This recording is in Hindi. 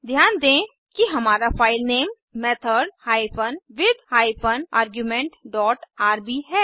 ध्यान दें कि हमारा filename method hyphen with hyphen argument dot RB है